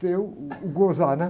ter uh, o gozar, né?